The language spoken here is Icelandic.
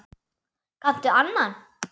Kanntu annan?